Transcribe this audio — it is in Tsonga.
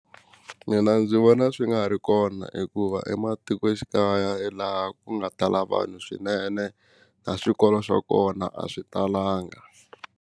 Mina ndzi vona swi nga ri kona hikuva ematikoxikaya laha ku nga tala vanhu swinene na swikolo swa kona a swi talanga.